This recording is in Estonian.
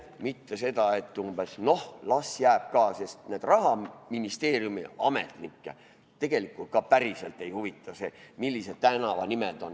Mitte umbes nii, et las jääb ka, sest neid Rahaministeeriumi ametnikke tegelikult ka päriselt ei huvita see, millised tänavanimed on.